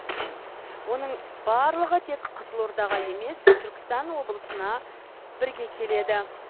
оның барлығы тек қызылордаға емес түркістан облысына бірге келеді